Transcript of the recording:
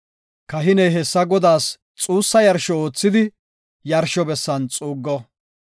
Kahiney hessa Godaas xuussa yarsho oothidi yarsho bessan xuuggo.